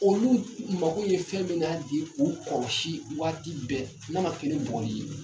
Olu mago ye fɛn mina bi k'u kɔlɔsi waati bɛ n'a ma kɛ ni bugɔli ye